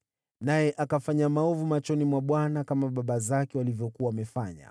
Naye akafanya maovu machoni mwa Bwana , kama baba zake walivyokuwa wamefanya.